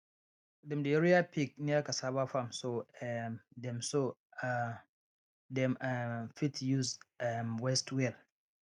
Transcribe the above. dem dey rear pig near cassava farm so um dem so um dem um fit use um waste well